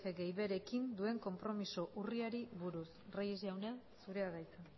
batgarren más g más b rekin duen konpromiso urriari buruz reyes jauna zurea da hitza